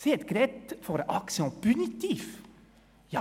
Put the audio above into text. Sie hat von einer «action punitive» gesprochen.